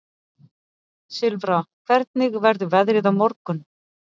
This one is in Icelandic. Silfra, hvernig verður veðrið á morgun?